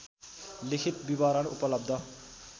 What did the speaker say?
लिखित विवरण उपलब्ध